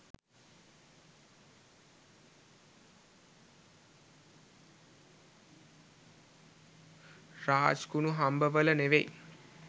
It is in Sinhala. රාජ්කුනුහබ්බවල නෙවෙයි